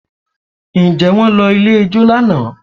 Ǹjẹ́ wọ́n lọ ilé ijó lánàá?